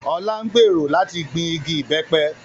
Ọlá ń gbèrò láti gbìn igi ìbẹ́pẹ